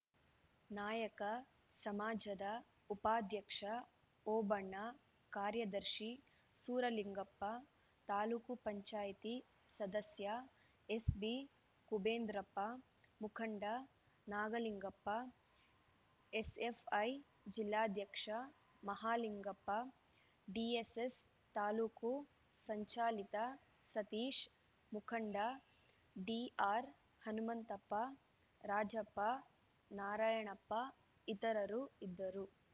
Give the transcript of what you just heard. ನಾಯಕ ಸಮಾಜದ ಉಪಾಧ್ಯಕ್ಷ ಓಬಣ್ಣ ಕಾರ್ಯದರ್ಶಿ ಸೂರಲಿಂಗಪ್ಪ ತಾಲೂಕು ಪಂಚಾಯಿತಿ ಸದಸ್ಯ ಎಸ್‌ಬಿಕುಬೇಂದ್ರಪ್ಪ ಮುಖಂಡ ನಾಗಲಿಂಗಪ್ಪ ಎಸ್‌ಎಫ್‌ಐ ಜಿಲ್ಲಾಧ್ಯಕ್ಷ ಮಹಾಲಿಂಗಪ್ಪ ಡಿಎಸ್‌ಎಸ್‌ ತಾ ಸಂಚಾಲಕ ಸತೀಶ್‌ ಮುಖಂಡ ಡಿಆರ್‌ಹನುಮಂತಪ್ಪ ರಾಜಪ್ಪ ನಾರಾಯಣಪ್ಪ ಇತರರು ಇದ್ದರು